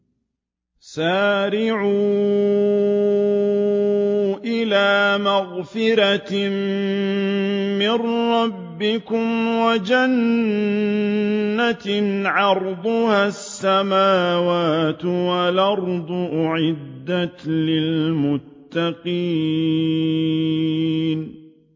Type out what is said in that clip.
۞ وَسَارِعُوا إِلَىٰ مَغْفِرَةٍ مِّن رَّبِّكُمْ وَجَنَّةٍ عَرْضُهَا السَّمَاوَاتُ وَالْأَرْضُ أُعِدَّتْ لِلْمُتَّقِينَ